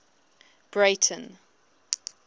breyten